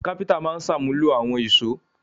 Kápẹ́ńtà máa ń ṣàmúlò àwọn ìṣó.